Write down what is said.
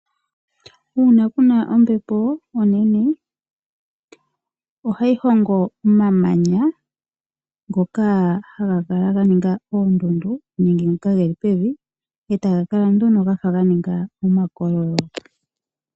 Uuna kuna ombepo onene ohayi hongo omamanya ngoka hagakala ganinga oondundu nenge ngoka geli pevi etaga kala nduno gafa ganinga omakololo .